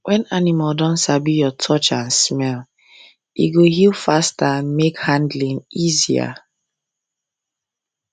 when animal don sabi your touch and smell e go heal faster and make handling easier